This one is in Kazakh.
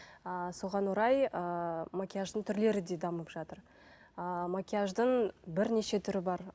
ыыы соған орай ыыы макияждың түрлері де дамып жатыр ыыы макияждың бірнеше түрі бар